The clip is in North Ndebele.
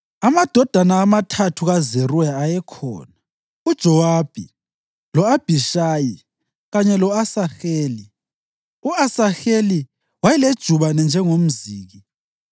Amadodana amathathu kaZeruya ayekhona: uJowabi, lo-Abhishayi kanye lo-Asaheli. U-Asaheli wayelejubane njengomziki.